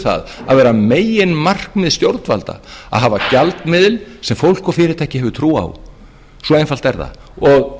það að vera meginmarkmið stjórnvalda að hafa gjaldmiðil sem fólk og fyrirtæki hafa trú á svo einfalt er það og